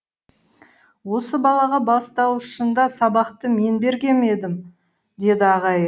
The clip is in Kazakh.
осы балаға бастауышында сабақты мен берген едім деді ағайы